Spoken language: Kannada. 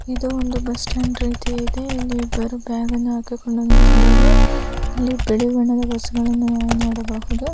ಇದು ಒಂದು ಬಸ್ ಸ್ಟಾಂಡ್ ರೀತಿ ಇದೆ ಇಲ್ಲಿ ಇಬ್ಬರು ಬ್ಯಾಗನ್ನು ಹಾಕಿಕೊಂಡು ನಿಂತಿದ್ದಾರೆ ಇಲ್ಲಿ ಬಿಳಿ ಬಣ್ಣದ ಬಸ್ ಗಳನ್ನು ನಾವು ನೋಡಬಹುದು.